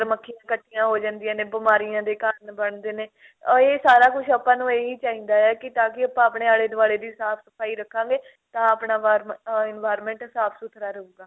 ਮੱਖੀਆਂ ਕੱਠੀਆਂ ਹੋ ਜਾਂਦੀਆਂ ਨੇ ਬਿਮਾਰੀਆਂ ਦੇ ਕਾਰਣ ਬਣਦੇ ਨੇ ਇਹ ਸਾਰਾ ਕੁੱਝ ਆਪਾਂ ਨੂੰ ਇਹੀ ਚਾਹੀਦਾ ਏ ਤਾਂਕਿ ਆਪਾਂ ਆਪਣੇ ਆਲੇ ਦੁਆਲੇ ਦੀ ਸਾਫ਼ ਸਫਾਈ ਰੱਖਾਗੇ